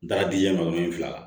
N taara diɲɛ ma wolonwula